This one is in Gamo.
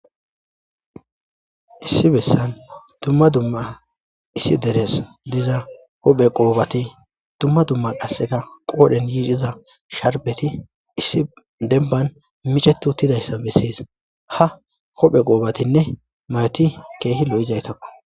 issi bessan dumma dumma issi deres diza hophe qoobati dumma dumma qasseka qoodhen yiidhiza sharbeti issi demban micetu uttidayssa bessis ha hophe qoobatinne mawoti keehi lo7izaytakko